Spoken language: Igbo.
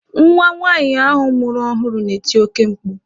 Nwa nwaanyị ahụ mụrụ ọhụrụ na-eti oke mkpu.